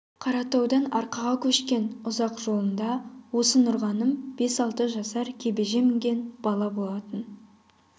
қаратаудан арқаға көшкен ұзақ жолында осы нұрғаным бес-алты жасар кебежеге мінген бала болатын